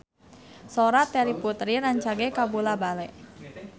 Sora Terry Putri rancage kabula-bale